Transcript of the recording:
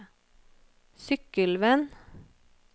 Sykkylven